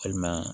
Walima